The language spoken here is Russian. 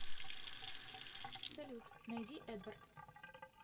салют найди эдвард